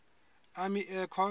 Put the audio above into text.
army air corps